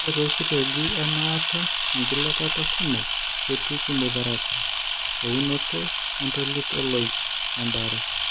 Ore toositeegi emaata enkilepata kumok ketii chemotherapy, eunoto entolit ooloik, oembaare.